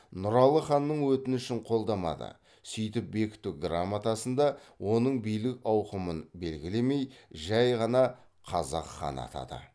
нұралы ханның өтінішін қолдамады сөйтіп бекіту грамотасында оның билік ауқымын белгілемей жай ғана қазақ ханы атады